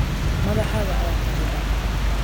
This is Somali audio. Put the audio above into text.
Madaxaaga ayaa kharriban.